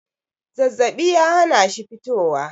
zazzabi ya hana shi fitowa